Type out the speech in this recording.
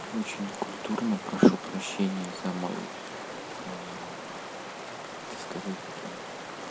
очень некультурно прошу прощения за мой как это сказать-то